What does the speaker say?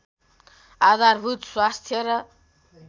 आधारभूत स्वास्थ्य र